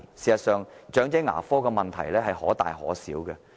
事實上，長者牙科的問題可大可小。